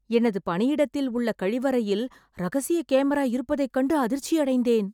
எனது பணியிடத்தில் உள்ள கழிவறையில் ரகசிய கேமரா இருப்பதைக் கண்டு அதிர்ச்சி அடைந்தேன்